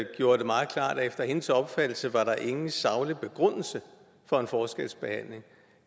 efter hendes opfattelse var der ingen saglig begrundelse for en forskelsbehandling